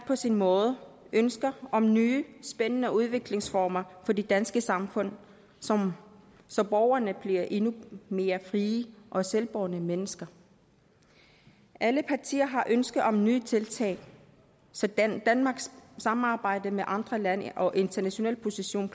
hver sin måde ønsker om nye spændende udviklingsformer for det danske samfund så så borgerne bliver endnu mere frie og selvbårne mennesker alle partier har ønske om nye tiltag så danmarks samarbejde med andre lande og internationale position